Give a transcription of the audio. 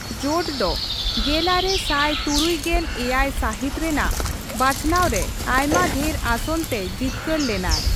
ᱡᱳᱴ ᱫᱚ ᱜᱮᱞᱟᱨᱮ ᱥᱟᱭ ᱛᱩᱨᱩᱭ ᱜᱮᱞ ᱮᱭᱟᱭᱥᱟᱹᱦᱤᱛ ᱨᱮᱱᱟᱜ ᱵᱟᱪᱷᱱᱟᱣ ᱨᱮ ᱟᱭᱢᱟ ᱰᱷᱮᱨ ᱟᱥᱚᱱ ᱛᱮᱭ ᱡᱤᱛᱠᱟᱹᱨ ᱞᱮᱱᱟᱭ ᱾